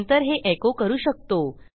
नंतर हे एको करू शकतो